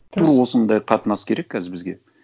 тура осындай қатынас керек қазір бізге